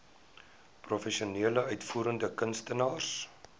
professionele uitvoerende kunstenaars